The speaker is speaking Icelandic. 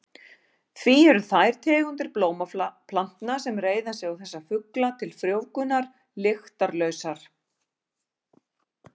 Því eru þær tegundir blómplantna sem reiða sig á þessa fugla til frjóvgunar lyktarlausar.